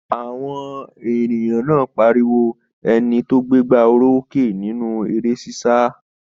Àwọn èrò náà pariwo ẹni tó gbégbá orókè nínú eré ṣíṣá